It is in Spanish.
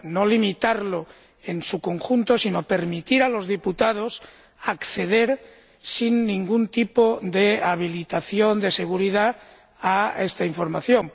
no limitarlo en su conjunto, sino permitir a los diputados acceder, sin ningún tipo de habilitación de seguridad, a esta información.